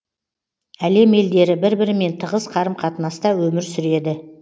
әлем елдері бір бірімен тығыз қарым қатынаста өмір сүреді